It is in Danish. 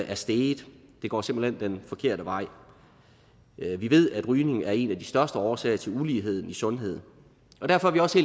er steget det går simpelt hen den forkerte vej vi ved at rygning er en af de største årsager til ulighed i sundhed derfor er vi også